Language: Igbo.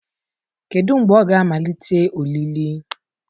Kedu mgbe a ga-amalite olili.